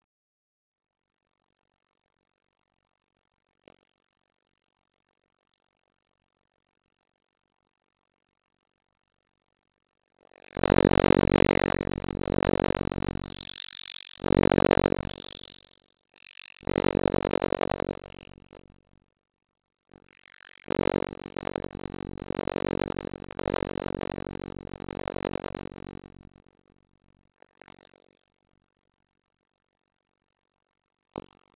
Heiðin sést hér fyrir miðri mynd.